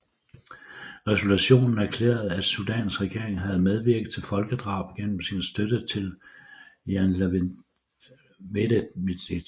Resolutionen erklærede at Sudans regering havde medvirket til folkedrab gennem sin støtte til janjaweedmilitsen